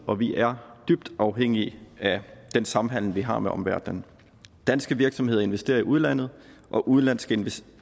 og vi er dybt afhængig af den samhandel vi har med omverdenen danske virksomheder investerer i udlandet og udenlandske